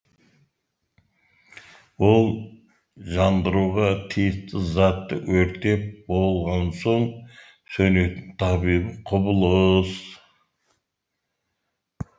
ол жандыруға тиісті затты өртеп болған соң сөнетін табиғи құбылыс